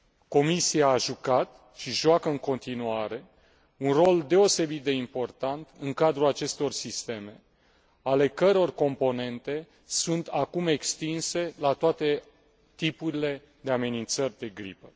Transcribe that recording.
Comisia a jucat și joacă în continuare un rol deosebit de important în cadrul acestor sisteme ale căror componente sunt acum extinse la toate tipurile de amenințări de gripă.